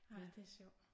Ej det er sjovt